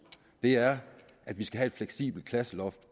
er at vi skal have et fleksibelt klasseloft